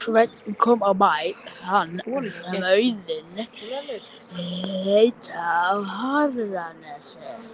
Sveinn kom á bæ þann sem Auðnir heita á Hjarðarnesi.